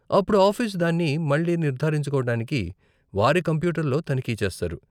అప్పుడు ఆఫీసు దాన్ని మళ్ళీ నిర్ధారించుకోవటానికి వారి కంప్యూటర్లో తనిఖీ చేస్తారు.